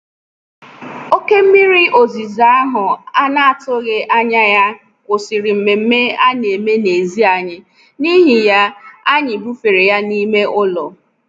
Oké mmiri ozuzo ahụ a na-atụghị anya ya kwụsịrị nmenme a na-eme n'èzí anyị, n'ihi ya, anyị bufere ya n'ime ụlọ.